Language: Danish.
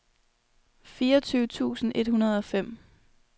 fireogtyve tusind et hundrede og fem